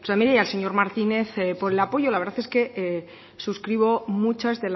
de y al señor martínez por el apoyo la verdad es que suscribo muchas